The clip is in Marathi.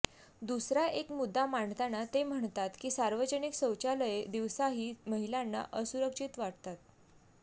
दुसरा एक मुद्दा मांडताना ते म्हणतात की सार्वजनिक शौचालये दिवसाही महिलांना असुरक्षित वाटतात